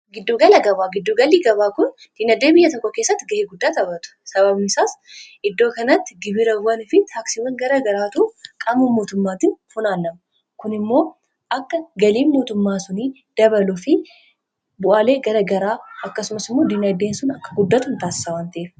Giddugala gabaa , giddu galii gabaa kun dinagdee biyya tokko keessatti ga'ee guddaa taphatu sababni isaas iddoo kanatti gibirawwan fi taaksiiwwan gara garaatu qabamuun mootummaatiin funaannamu kun immoo akka galiin mootummaa suni dabalu fi bu'aalee gara garaa akkasumas immoo diinagdeen sun akka guddatu taasisa waan ta, eef.